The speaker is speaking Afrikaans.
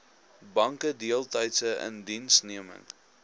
banke deeltydse indiensneming